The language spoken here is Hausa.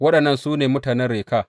Waɗannan su ne mutanen Reka.